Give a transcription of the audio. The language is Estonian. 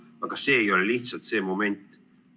Aga see ei ole lihtsalt see moment.